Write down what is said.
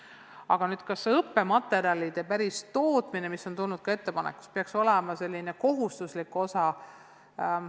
Aga kas õppematerjalide n-ö tootmine, mida on ettepanekuna pakutud, peaks olema koolituse kohustuslik osa?